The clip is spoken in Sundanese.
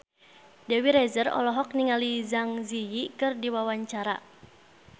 Dewi Rezer olohok ningali Zang Zi Yi keur diwawancara